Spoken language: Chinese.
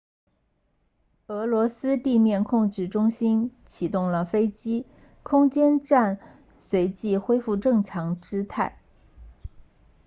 俄罗斯地面控制中心启动了飞机空间站随即恢复正常姿态